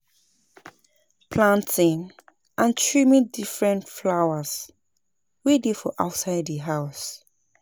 Planting and trimming different flowers wey dey for outside di house